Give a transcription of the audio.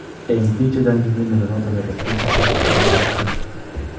En biik chechang chetinye mnyondo noton nebo Tietze syndrome kosobe kityon